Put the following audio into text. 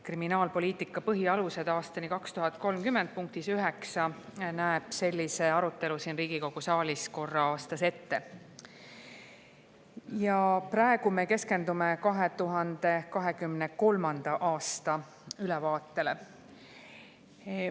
"Kriminaalpoliitika põhialuste aastani 2030" punkt 9 näeb ette sellise arutelu siin Riigikogu saalis korra aastas ja praegu me keskendume 2023. aasta ülevaatele.